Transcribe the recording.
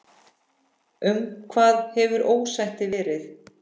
Um hvað hefur ósættið verið?